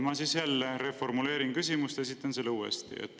Ma siis jälle reformuleerin küsimuse, esitades selle uuesti.